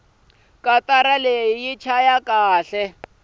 katara yi chaya kahle